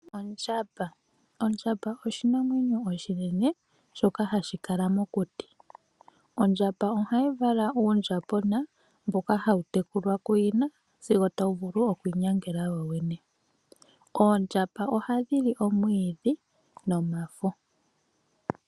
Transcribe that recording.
Ondjamba oshinamwenyo oshinene shoka hashi kala mokuti. Ondjamba ohayi vala uundjambona mboka hawu tekulwa kuyina sigo tawu vulu okwiinyangela wowene. Oondjamba ohadhi li omwiidhi nomafo.